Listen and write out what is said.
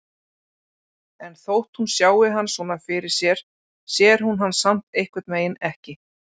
En þótt hún sjái hann svona fyrir sér sér hún hann samt einhvernveginn ekki.